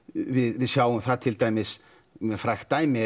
við sjáum það til dæmis með frægt dæmi